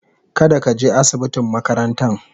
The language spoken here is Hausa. kada ka je asibitin makarantan.